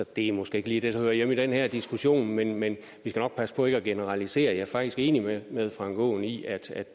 det er måske ikke lige det der hører hjemme i den her diskussion men men vi skal nok passe på ikke at generalisere og jeg er faktisk enig med herre frank aaen i at